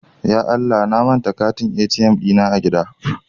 Ya Allah!, na manta katin ATM dina a gida.